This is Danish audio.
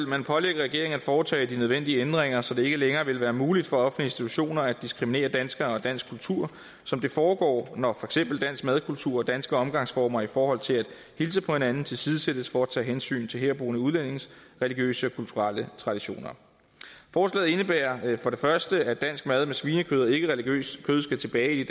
man pålægge regeringen at foretage de nødvendige ændringer så det ikke længere ville være muligt for institutioner at diskriminere danskere og dansk kultur som det foregår når for eksempel dansk madkultur og danske omgangsformer i forhold til at hilse på hinanden tilsidesættes for at tage hensyn til herboende udlændinges religiøse og kulturelle traditioner forslaget indebærer for det første at dansk mad med svinekød og ikkereligiøst kød skal tilbage i